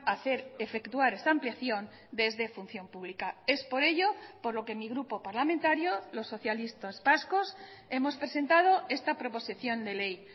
hacer efectuar esa ampliación desde función pública es por ello por lo que mi grupo parlamentario los socialistas vascos hemos presentado esta proposición de ley